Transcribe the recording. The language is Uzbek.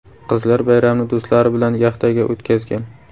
Qizlar bayramni do‘stlari bilan yaxtaga o‘tkazgan.